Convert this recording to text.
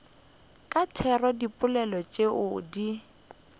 ka tiro dipoelo tšeo di